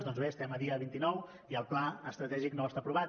doncs bé estem a dia vint nou i el pla estratègic no està aprovat